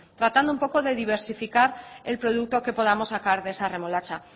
tratando un poco de diversificar el producto que podamos sacar de esa remolacha